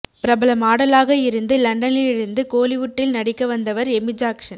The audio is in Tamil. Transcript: பிரபல மாடலாக இருந்து லண்டனிலிருந்து கோலிவுட்டில் நடிக்க வந்தவர் எமி ஜாக்சன்